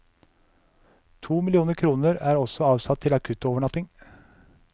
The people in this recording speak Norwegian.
To millioner kroner er også avsatt til akuttovernatting.